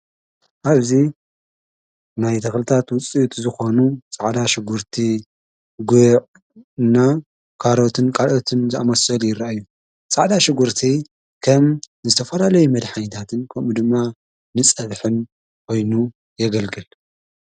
ኣብዙ ናይ ተኽልታት ውፂ እቲ ዝኾኑ ፃዕዳ ሽጕርቲ ጐዕ ና ካሮትን ቃልኦትን ዝኣመስል ይረአእዩ ፃዕዳ ሽጕርቲ ከም ንዝተፈላለይ መድኃኒታትን ከሙ ድማ ንፀበሒን ኮይኑ የገልግል።